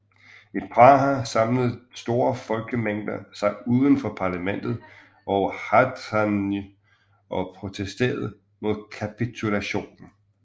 I Praha samlede store folkemængder sig uden for parlamentet og Hradčany og protesterede mod kapitulationen